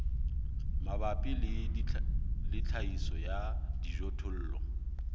mabapi le tlhahiso ya dijothollo